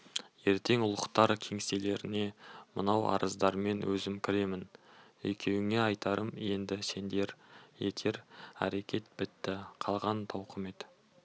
ертең ұлықтар кеңселеріне мынау арыздармен өзім кіремін екеуіңе айтарым енді сеңдер етер әрекет бітті қалған тауқымет